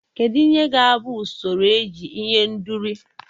Kedu ihe ga-abụ usoro eji ihendori?